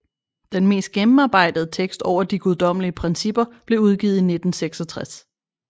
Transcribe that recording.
Den mest gennemarbejdede tekst over de Guddommelige Principper blev udgivet i 1966